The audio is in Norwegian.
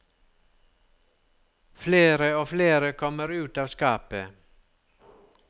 Flere og flere kommer ut av skapet.